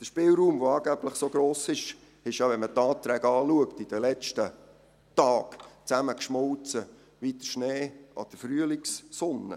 Der Spielraum, der angeblich so gross ist, ist ja, wenn man die Anträge anschaut, in den letzten Tagen zusammengeschmolzen wie der Schnee an der Frühlingssonne.